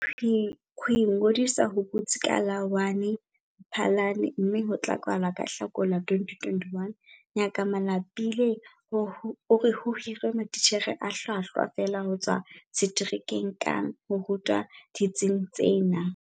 Ho ingodisa ho butsi ka la1 Mphalane mme ho tla kwala ka Hlakola 2021. Ngaka Malapile o re ho hiruwe matitjhere a hlwahlwa feela ho tswa seterekeng kang ho ruta ditsing tsena.